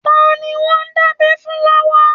Ta ni wọ́n ń dábẹ́ fún lọ́wọ́?